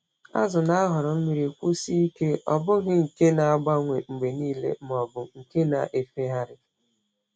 Azụ na-ahọrọ mmiri kwụsie ike—ọ bụghị nke na-agbanwe mgbe niile ma ọ bụ nke na-efegharị.